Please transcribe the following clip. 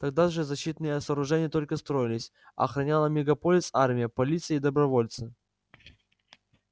тогда же защитные сооружения только строились а охраняла мегаполис армия полиция и добровольцы